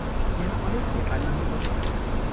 यहाँ अनेक नेपालीहरू बसेका छन्।